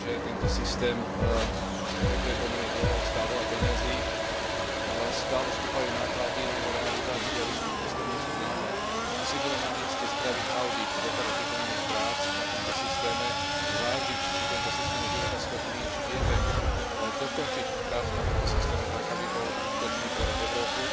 Vieme, že tento systém sa pripravuje pomerne dlho, stál veľa peňazí, stále stúpajú náklady na jeho realizáciu a výsledky testov nie sú známe. Asi by bolo namieste spraviť audit doteraz vykonaných prác na tomto systéme, zvážiť či tento systém je životaschopný, či vieme dokončiť prácu na tomto systéme tak, aby bol užitočný pre Európu,